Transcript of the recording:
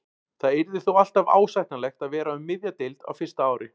Það yrði þó alltaf ásættanlegt að vera um miðja deild á fyrsta ári.